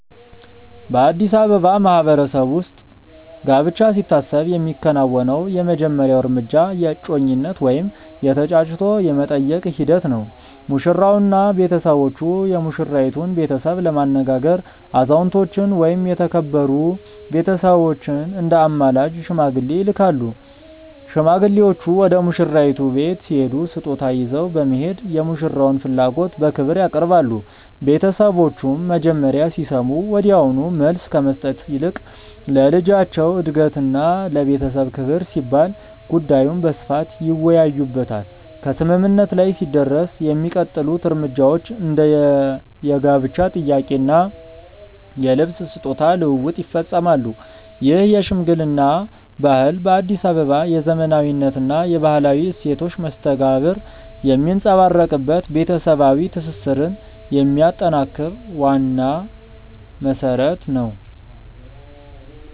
በአዲስ አበባ ማህበረሰብ ውስጥ ጋብቻ ሲታሰብ የሚከናወነው የመጀመሪያው እርምጃ የእጮኝነት ወይም የ"ተጫጭቶ የመጠየቅ" ሂደት ነው። ሙሽራውና ቤተሰቦቹ የሙሽራይቱን ቤተሰብ ለማነጋገር አዛውንቶችን ወይም የተከበሩ ቤተሰቦችን እንደ አማላጅ (ሽማግሌ) ይልካሉ። ሽማግሌዎቹ ወደ ሙሽራይቱ ቤት ሲሄዱ ስጦታ ይዘው በመሄድ የሙሽራውን ፍላጎት በክብር ያቀርባሉ። ቤተሰቦቹም መጀመሪያ ሲሰሙ ወዲያውኑ መልስ ከመስጠት ይልቅ ለልጃቸው እድገትና ለቤተሰብ ክብር ሲባል ጉዳዩን በስፋት ይወያዩበታል። ከስምምነት ላይ ሲደረስ የሚቀጥሉት እርምጃዎች እንደ የጋብቻ ጥያቄ እና የልብስ/ስጦታ ልውውጥ ይፈጸማሉ። ይህ የሽምግልና ባህል በአዲስ አበባ የዘመናዊነትና የባህላዊ እሴቶች መስተጋብር የሚንጸባረቅበት፣ ቤተሰባዊ ትስስርን የሚያጠናክር ዋና መሰረት ነው።